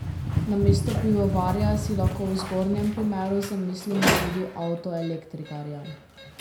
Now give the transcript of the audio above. Namesto pivovarja si lahko v zgornjem primeru zamislimo tudi avtoelektrikarja.